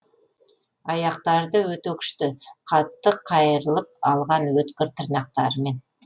аяқтары да өте күшті қатты қайырылып қалған өткір тырнақтарымен